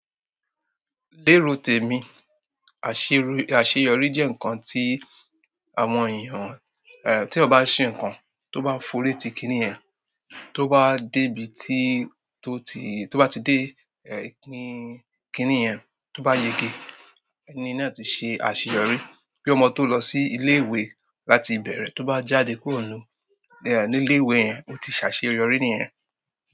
Lérò tèmi, àṣèyọrí jẹ́ ǹkan tí àwọn èèyàn, eh tí ọ bá ṣe ǹkan, tó bá forí ti kíní yen, tó bá dé ibi tí ó ti, tó bá ti dé ẹ kíní yen, tó bá yege, ẹni náà ti ṣe àṣeyọrí. Bí ọmọ tó lọ sí ilé ìwé láti bẹ̀rẹ̀, tó bá jáde kúrò nú ní ilé ìwé yen, ó ti ṣàṣeyọrí nìyen.